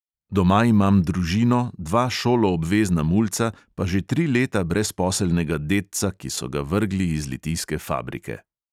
Doma imam družino, dva šoloobvezna mulca, pa že tri leta brezposelnega dedca, ki so ga vrgli iz litijske fabrike.